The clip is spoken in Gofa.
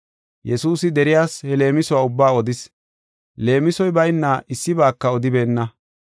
Yesuusi deriyas he leemisuwa ubbaa odis. Leemisoy bayna issibaaka odibeenna.